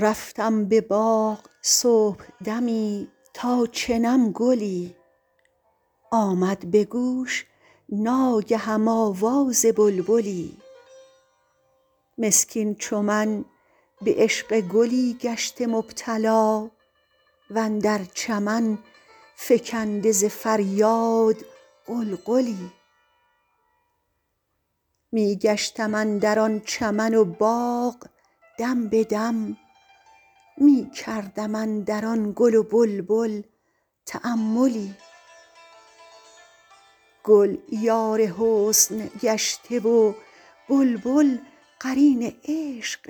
رفتم به باغ صبحدمی تا چنم گلی آمد به گوش ناگهم آواز بلبلی مسکین چو من به عشق گلی گشته مبتلا و اندر چمن فکنده ز فریاد غلغلی می گشتم اندر آن چمن و باغ دم به دم می کردم اندر آن گل و بلبل تاملی گل یار حسن گشته و بلبل قرین عشق